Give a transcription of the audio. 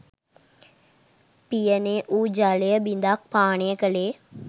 පියනේ වූ ජලය බිඳක් පානය කළේය